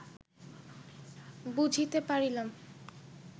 বুঝিতে পারিলাম